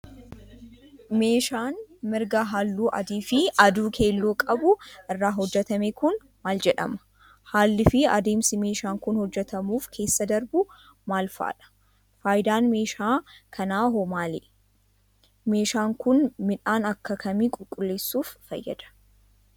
Meeshaan migira haalluu adii fi adii keelloo qabu irraa hojjatame kun, maal jedhama? Haalli fi adeemsi meeshaan kun hojjatamuuf keessa darbu, maal faa dha? Faayidaan meeshaa kanaa hoo maalidha? Meeshaan kun, midhaan akka kamii qulqulleessuuf fayyada?